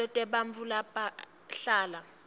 ticelo tebantfu labahlala